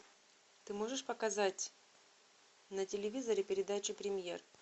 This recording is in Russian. ты можешь показать на телевизоре передачу премьер